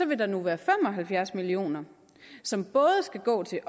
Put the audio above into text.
vil der nu være fem og halvfjerds million kr som både skal gå til